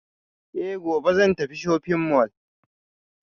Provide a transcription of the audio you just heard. Eh gobe zan tafi shopping mall